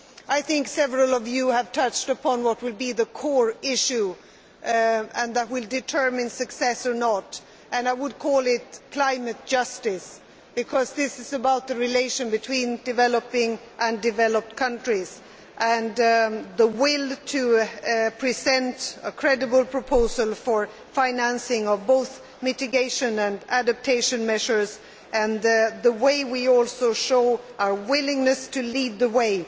I think several of you have touched upon what will be the core issue which will determine success or failure. I would call it climate justice, because this is about the relation between developing and developed countries and the will to present a credible proposal for the financing of both mitigation and adaptation measures and the way we also show our willingness to lead the way.